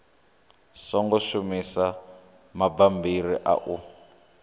songo shumisa mabammbiri a u